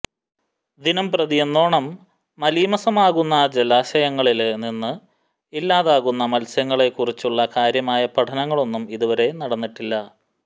ദിനം പ്രതിയെന്നോണം മലീമസമാകുന്ന ജലാശയങ്ങളില് നിന്ന് ഇല്ലാതാകുന്ന മത്സ്യങ്ങളെക്കുറിച്ചുള്ള കാര്യമായ പഠനങ്ങളൊന്നും ഇതുവരെ നടന്നിട്ടില്ല